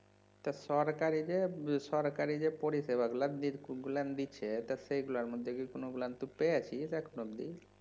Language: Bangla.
তা সরকারি যে সরকারি যে পরিসেবা গুলো গুলান দিচ্ছে তা সেইগুলার মধ্যে কি কোনো গুলান তুই পেয়েছিস এখনো অব্দি?